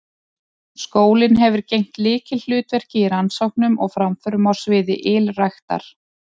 Skólinn hefur gegnt lykilhlutverki í rannsóknum og framförum á sviði ylræktar.